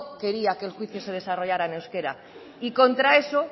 quería que el juicio se desarrollara en euskera y contra eso